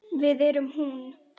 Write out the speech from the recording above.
Við erum hún.